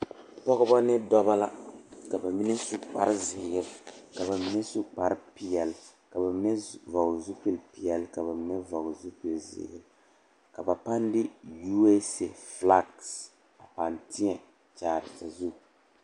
Pɔgeba ne dɔba la ka ba mine su kparezeere ka ba mine su kparepeɛle ka ba mine su vɔgle zupilipeɛle ka ba mine vɔgle zupilizeere ka ba pãâ de USA filagi a pãâ teɛ kyaare sazu.